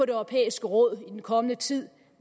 det europæiske råd i den kommende tid